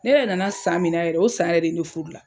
Ne yɛrɛ nana san min na yɛrɛ, o san yɛrɛ de ne furu la.